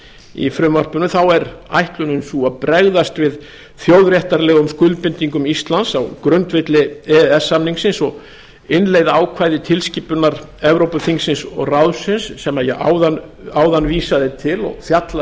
í frumvarpinu þá er ætlunin sú að bregðast við þjóðréttarlegum skuldbindingum íslands á grundvelli e e s samningsins og innleiða ákvæði tilskipunar evrópuþingsins og ráðsins sem ég áðan vísaði til og fjallar